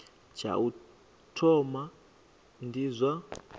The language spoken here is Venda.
tsha u thoma ndi zwa